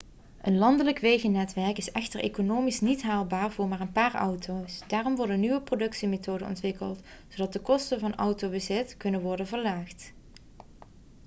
een landelijk wegennetwerk is echter economisch niet haalbaar voor maar een paar auto's daarom worden nieuwe productiemethoden ontwikkeld zodat de kosten van autobezit kunnen worden verlaagd